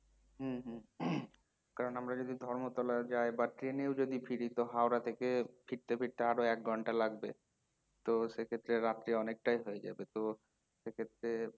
হম হম কারণ আমরা যদি ধর্মতলা যায় বা train এও যদি ফিরি তো হাওড়া থেকে ফিরতে ফিরতে আরো একঘন্টা লাগবে তো সেক্ষেত্রে রাত্রী অনেকটাই হয়ে যাবে তো সেক্ষেত্রে